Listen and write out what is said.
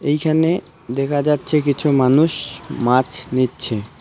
এইখানে দেখা যাচ্ছে কিছু মানুষ মাছ নিচ্ছে .